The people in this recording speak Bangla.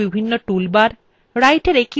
writerএর পরিচিতি